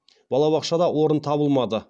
балабақшада орын табылмады